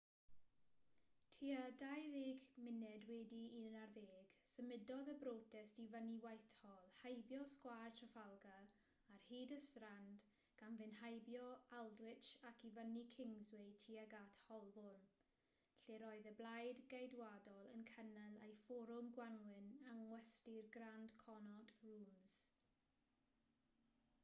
tua 11:20 symudodd y brotest i fyny whitehall heibio sgwâr trafalgar ar hyd y strand gan fynd heibio aldwych ac i fyny kingsway tuag at holborn lle'r oedd y blaid geidwadol yn cynnal eu fforwm gwanwyn yng ngwesty'r grand connaught rooms